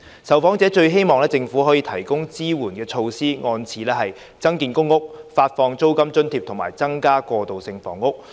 受訪者最希望政府提供的支援措施依次為：增建公屋、發放租金津貼，以及增加過渡性房屋。